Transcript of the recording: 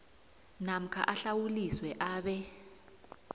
namkha ahlawuliswe abe